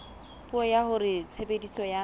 puo ya hore tshebediso ya